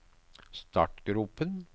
startgropen